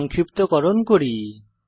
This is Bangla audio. সংক্ষিপ্তকরণ করি